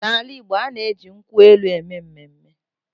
N’ala Igbo, a na-eji nkwụ elụ eme mmemme.